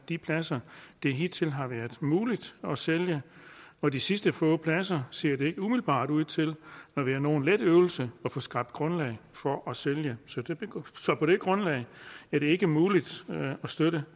de pladser det hidtil har været muligt at sælge og de sidste få pladser ser det ikke umiddelbart ud til at være nogen let øvelse at få skabt grundlag for at sælge på det grundlag er det ikke muligt at støtte